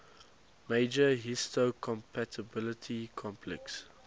major histocompatibility complex